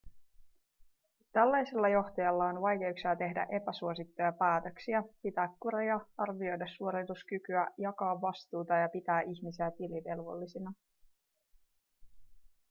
tällaisella johtajalla on vaikeuksia tehdä epäsuosittuja päätöksiä pitää kuria arvioida suorituskykyä jakaa vastuuta ja pitää ihmisiä tilivelvollisina